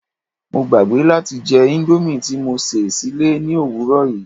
Mo gbàgbé láti jẹ indomie ti mo sè sílé ni òwúrò yii